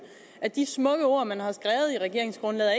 de smukke ord man har skrevet i regeringsgrundlaget